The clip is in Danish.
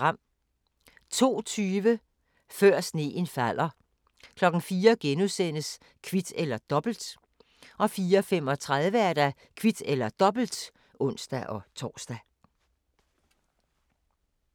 02:20: Før sneen falder 04:00: Kvit eller Dobbelt * 04:35: Kvit eller Dobbelt (ons-tor)